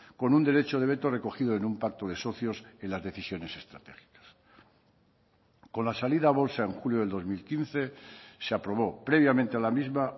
con un derecho de veto recogido en un pacto de socios en las decisiones estratégicas con la salida a bolsa en julio del dos mil quince se aprobó previamente a la misma